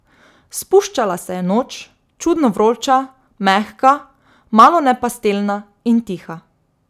Spuščala se je noč, čudno vroča, mehka, malone pastelna, in tiha.